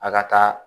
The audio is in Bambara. A ka taa